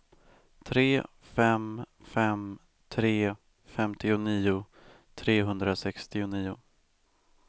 tre fem fem tre femtionio trehundrasextionio